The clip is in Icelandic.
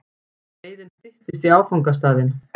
Leiðin styttist í áfangastaðinn.